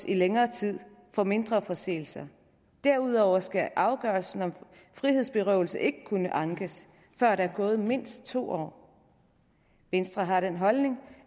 i længere tid for mindre forseelser derudover skal afgørelsen om frihedsberøvelse ikke kunne ankes før der er gået mindst to år venstre har den holdning